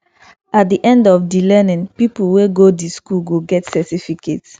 at the end of di learning pipo wey go di school go get cerificate